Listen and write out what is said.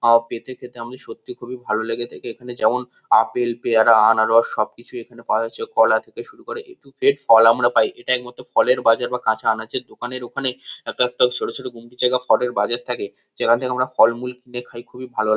আম কেটে খেতে আমাদের সত্যি খুবই ভালো লেগে থাকে এখানে যেমন- আপেল পেয়ারা আনারস সব কিছুই এখানে পাওয়া যাচ্ছে কলা থেকে শুরু করে এ টু জেড ফল আমরা পাই এটা একমাত্র ফলের বাজার বা কাঁচা আনাজের দোকানের ওখানে একেকটা ছোট ছোট গুমটি জায়গায় ফলের বাজার থাকে যেখান থেকে আমরা ফল-মূল কিনে খাই খুবই ভালো।